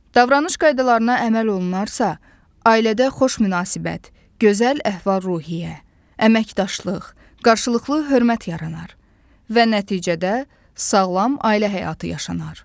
Davranış qaydalarına əməl olunarsa, ailədə xoş münasibət, gözəl əhval-ruhiyyə, əməkdaşlıq, qarşılıqlı hörmət yaranar və nəticədə sağlam ailə həyatı yaşanar.